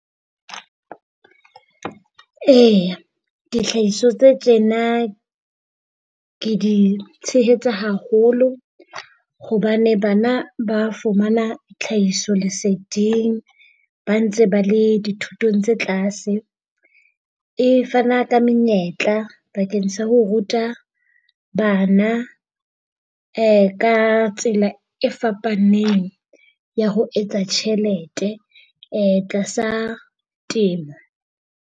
E, dihlahiswa tse tjena ke di tshehetsa haholo hobane bana ba fumana tlhahisoleseding ba ntse ba le dithutong tse tlase. E fana ka menyetla bakeng sa ho ruta bana ka tsela e fapaneng ya ho etsa tjhelete tlasa temo.